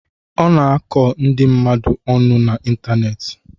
Ọ na-akọ ndị mmadụ ọnụ na Ịntaneetị.